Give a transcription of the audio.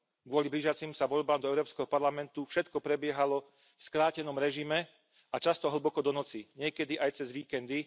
Kvôli blížiacim sa voľbám do Európskeho parlamentu všetko prebiehalo v skrátenom režime a často hlboko do noci. Niekedy aj cez víkendy.